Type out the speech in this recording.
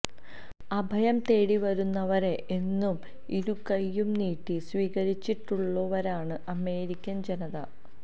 അഭയം തേടി വരുന്നവരെ എന്നും ഇരുകൈയും നീട്ടി സ്വീകരിച്ചുട്ടുള്ളവരാണ് അമേരിക്കൻ ജനത